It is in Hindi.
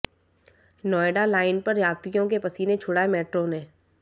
नोएडा लाइन पर यात्रियों के पसीने छुड़ाये मेट्रो ने